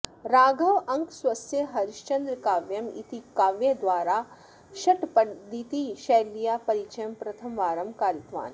राघवाङ्कः स्वस्य हरिश्चान्द्रकाव्यम् इति काव्यद्वारा षट्पदीतिशैल्याः परिचयं प्रथमवारं कारितवान्